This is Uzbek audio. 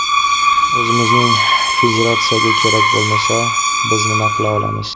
O‘zimizning federatsiyaga kerak bo‘lmasa, biz nima qila olamiz?